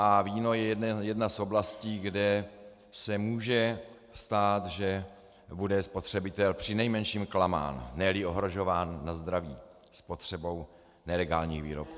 A víno je jedna z oblastí, kde se může stát, že bude spotřebitel přinejmenším klamán, ne-li ohrožován na zdraví spotřebou nelegálních výrobků.